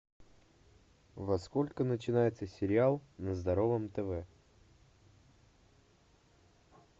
во сколько начинается сериал на здоровом тв